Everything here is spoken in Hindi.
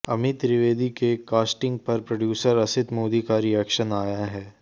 अमी त्रिवेदी के कॉस्टिंग पर प्रोड्यूसर असित मोदी का रिएक्शन आया है